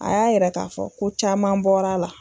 A y'a yɛrɛ k'a fɔ ko caman bɔra la